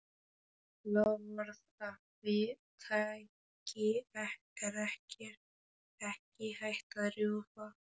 Loforð af því tagi er ekki hægt að rjúfa.